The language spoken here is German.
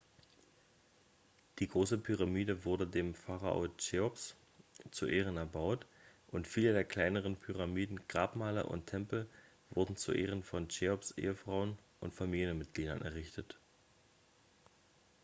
die große pyramide wurde dem pharao cheops zu ehren erbaut und viele der kleineren pyramiden grabmale und tempel wurden zu ehren von cheops ehefrauen und familienmitgliedern errichtet